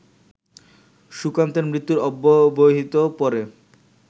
সুকান্তের মৃত্যুর অব্যবহিত পরে